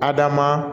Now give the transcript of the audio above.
Adama